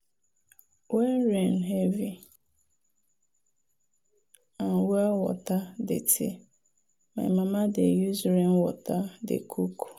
when rain heavy and well water dirty my mama dey use rainwater dey cook.